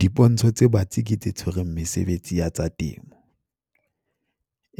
Dipontsho tse batsi ke tse tshwereng mesebetsi ya tsa temo,